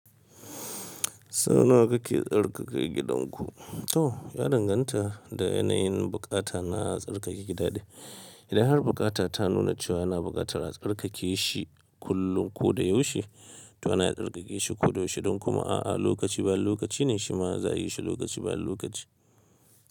Saunawa ka ke tsarkake gidanku? To ya danganta da yanayin bukata na tsarkake gida ne. Idan har bukata ta nuna cewa ana buƙatar a tsarkake shi kullum ko da yaushe, to ana tsarkake shi ko da yaushe. Idon kuma a'a, lokaci bayan lokaci ne shi ma za a yi shi lokaci bani lokaci.